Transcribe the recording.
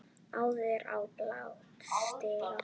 áður á bál stigi